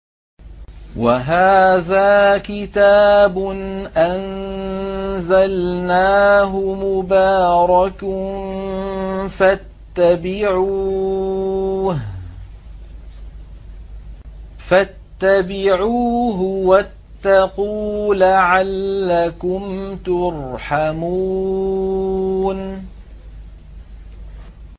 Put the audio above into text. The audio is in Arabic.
وَهَٰذَا كِتَابٌ أَنزَلْنَاهُ مُبَارَكٌ فَاتَّبِعُوهُ وَاتَّقُوا لَعَلَّكُمْ تُرْحَمُونَ